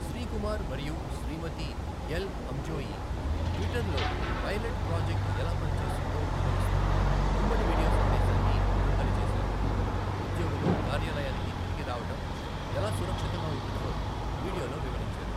శ్రీ కుమార్ మరియు Shrimati El Hamzaoui ట్విట్టర్లో pilot project ఎలా పని చేస్తుందో వివరిస్తూ ఉమ్మడి వీడియో సందేశాన్ని విడుదల చేశారు. ఉద్యోగులు కార్యాలయానికి తిరిగి రావడం ఎలా సురక్షితంగా ఉంటుందో వీడియోలో వివరించారు.